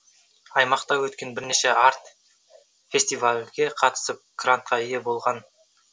аймақта өткен бірнеше арт фестивальге қатысып грантқа ие болған